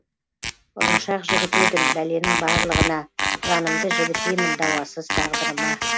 ұрыншақ жігіт едім бәленің барлығына жанымды жібітемін дауасыз тағдырыма